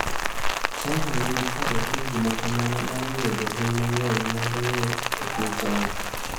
China nigi parruok ni gima kamano nyalo miyo jolweny mang’eny kng’ado ng’wech e piny China.